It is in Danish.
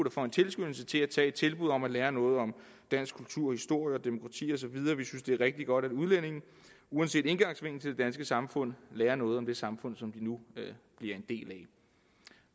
og får en tilskyndelse til at tage imod et tilbud om at lære noget om dansk kultur historie demokrati og så videre vi synes det er rigtig godt at udlændinge uanset indgangsvinkel danske samfund lærer noget om det samfund som de nu bliver en del af